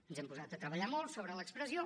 ens hem posat a treballar molt sobre l’expressió